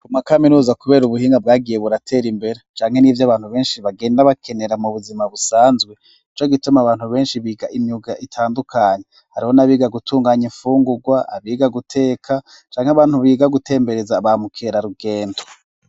Ku ma kaminuza kubera ubuhinga bwagiye buratera imbere canke n'ivyo abantu benshi bagenda bakenera mu buzima busanzwe, nico gituma abantu benshi biga imyuga itandukanye. Hariho n'abiga gutunganya imfungurwa, abiga guteka canke abantu biga gutembereza ba mukerarugendo.